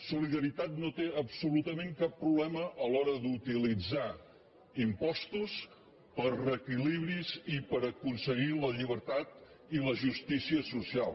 solidaritat no té absolutament cap problema a l’hora d’utilitzar impostos per a reequilibris i per aconseguir la llibertat i la justícia social